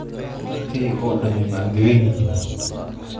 Dharkaygii oo dhammi ma engegan yihiin?